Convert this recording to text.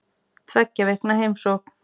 Tveggja vikna heimsókn